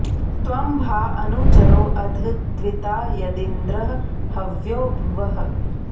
त्वं भा अनु चरो अध द्विता यदिन्द्र हव्यो भुवः